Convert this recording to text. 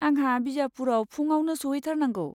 आंहा बिजापुरआव फुङावनो सहैथारनांगौ।